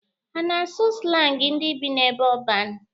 Ha a na-asụ slangi ndị bi n'ebe ọban?